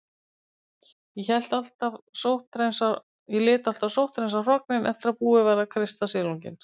Ég lét alltaf sótthreinsa hrognin eftir að búið var að kreista silunginn.